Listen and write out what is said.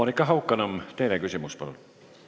Monika Haukanõmm, teine küsimus, palun!